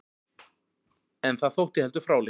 En það þótti heldur fráleitt.